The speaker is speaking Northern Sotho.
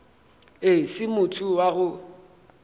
e se motho wa go